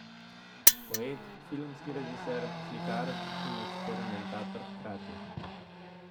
Poet, filmski režiser, slikar in eksperimentator hkrati.